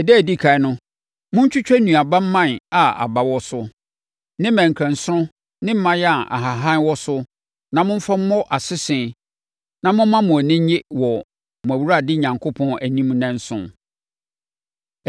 Ɛda a ɛdi ɛkan no, montwitwa nnuaba mman a aba wɔ so, ne mmerɛnkɛnsono ne mman a nhahan wɔ so na momfa mmɔ asese na momma mo ani nnye wɔ mo Awurade Onyankopɔn anim nnanson.